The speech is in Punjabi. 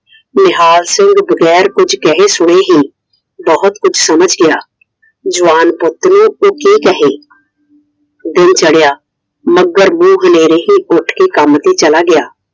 ਨਿਹਾਲ ਸਿੰਘ ਬਗੈਰ ਕੁਝ ਕਹੇ ਸੁਣੇ ਹੀ ਬਹੁਤ ਕੁਛ ਸਮਝ ਗਿਆ I ਜਵਾਨ ਪੁੱਤ ਨੂੰ ਕੋਈ ਕਿ ਕਹੇ? ਦਿਨ ਚੜਿਆ ਮੱਘਰ ਮੂੰਹ ਹਨੇਰੇ ਹੀ ਉੱਠ ਕੇ ਕੰਮ ਤੇ ਚਲਾ ਗਿਆ I